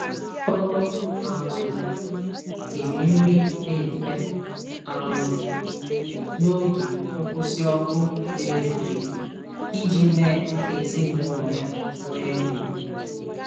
O um siri nri dị mfe um n'oge nkwụsị ọkụ eletrik iji mee ka ezinụlọ ya nwee nri.